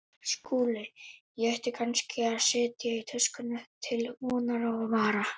SKÚLI: Ég ætti kannski að setja í töskurnar til vonar og vara.